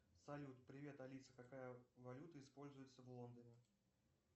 салют привет алиса какая валюта используется в лондоне